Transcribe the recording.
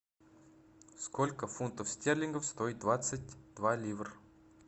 сколько фунтов стерлингов стоит двадцать два ливр